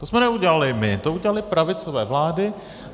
To jsme neudělali my, to udělaly pravicové vlády.